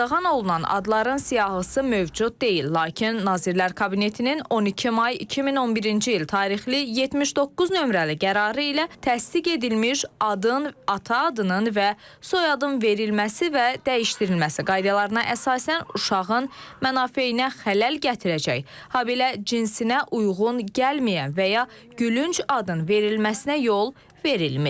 Qadağan olunan adların siyahısı mövcud deyil, lakin Nazirlər Kabinetinin 12 may 2011-ci il tarixli 79 nömrəli qərarı ilə təsdiq edilmiş adın, ata adının və soyadın verilməsi və dəyişdirilməsi qaydalarına əsasən uşağın mənafeyinə xələl gətirəcək, habelə cinsinə uyğun gəlməyən və ya gülünc adın verilməsinə yol verilmir.